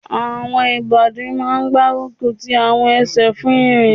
Àwọn ìbàdí máa n gbárùkù ti àwọn ẹsẹ̀ fún ìrìn